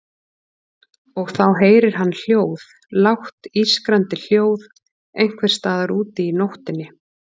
Og þá heyrir hann hljóð, lágt ískrandi hljóð einhvers staðar úti í nóttinni.